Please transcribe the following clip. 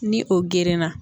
Ni o gerenna